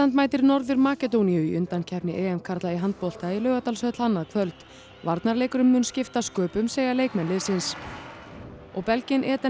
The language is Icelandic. mætir Norður Makedóníu í undankeppni karla í handbolta í Laugardalshöll annað kvöld varnarleikurinn mun skipta sköpum segja leikmenn liðsins og belginn Eden